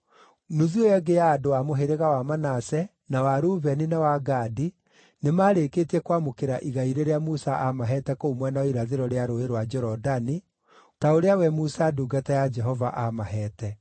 Nuthu ĩyo ĩngĩ ya andũ a mũhĩrĩga wa Manase, na wa Rubeni na wa Gadi nĩmarĩkĩtie kwamũkĩra igai rĩrĩa Musa aamaheete kũu mwena wa irathĩro rĩa Rũũĩ rwa Jorodani, ta ũrĩa we Musa ndungata ya Jehova aamaheete.